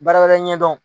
Baara wɛrɛ ɲɛ dɔn